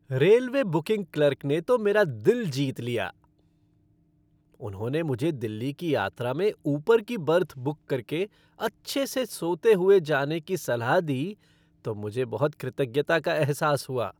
Railway booking clerk ने तो मेरा दिल जीत लिया। उन्होंने मुझे दिल्ली की यात्रा में ऊपर की बर्थ बुक करके अच्छे से सोते हुए जाने की सलाह दी तो मुझे बहुत कृतज्ञता का एहसास हुआ।